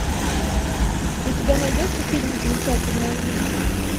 у тебя найдется фильм замечательная жизнь